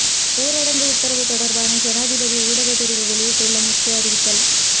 ஊரடங்கு உத்தரவு தொடர்பான ஜனாதிபதி ஊடகப் பிரிவு வெளியிட்டுள்ள முக்கிய அறிவித்தல்